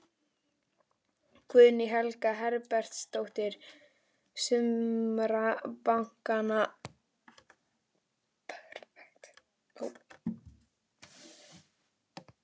Guðný Helga Herbertsdóttir: Sumra bankanna?